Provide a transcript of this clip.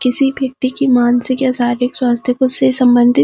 किसी व्यक्ति की मानसिक या शारीरिक स्वास्थ्य से संबंधित।